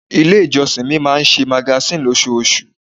Ilé ìjọsìn mi máa ń ṣe magazine ní osoosù.